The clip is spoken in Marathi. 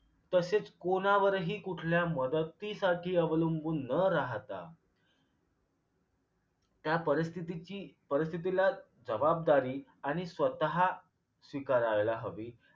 तसेच कोणावरही कुठल्या मदतीसाठी अवलंबून न राहता त्या परिस्थितीची परिस्थितीला जबाबदारी आणि स्वतः स्वीकारायला हवे